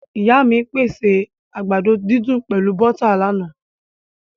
Ìyá mí pèsè àgbàdo didùn pẹlu bọ́tà láána